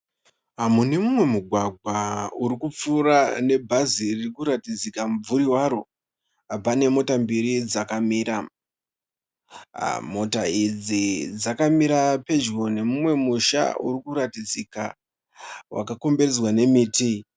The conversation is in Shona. Mune mumwe mugwagwa uri kupfuura nebhazi ririkuratidzika mubvuri waro. Pane mota mbiri dzakamira. Mota idzi dzakamira pedyo nemumwe musha urikuratidzika wakakomberedza nemiti.